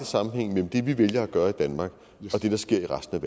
sammenhæng mellem det vi vælger at gøre i danmark og det der sker i resten af